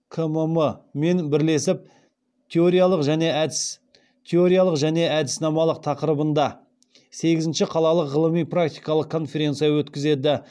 кмм мен бірлесіп теориялық және әдіснамалық тақырыбында сегізінші қалалық ғылыми практикалық конференция өткізеді